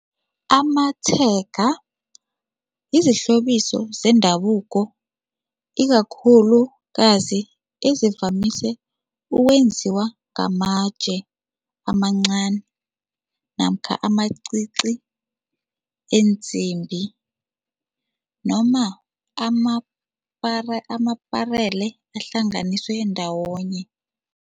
Amatshega yizihlobiso zendabuko ikakhulukazi ezivamise ukwenziwa ngamatje amancani namkha amacici ensimbi noma amaparele ahlanganiswe ndawonye.